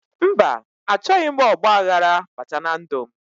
Mba, achọghị m ọgbaghara bata na ndụ m